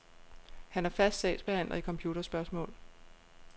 Han er fast sagsbehandler i computerspørgsmål.